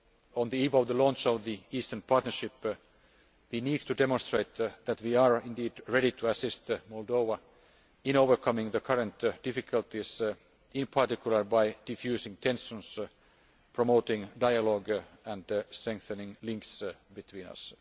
On the eve of the launch of the Eastern Partnership we need to demonstrate that we are indeed ready to assist Moldova in overcoming the current difficulties, in particular by defusing tensions, promoting dialogue and strengthening links between